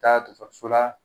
Taa dɔgɔtɔrɔso la